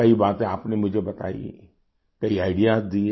कई बातें आपने मुझे बताई कई आईडीईएएस दिए